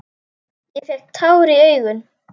Ég fékk tár í augun.